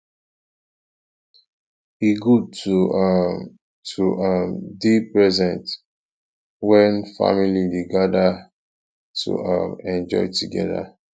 e good to um to um dey present when family dey gather to um enjoy together